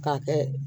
K'a kɛ